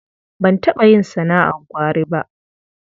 Ban taɓa yin sana'ar gwari ba.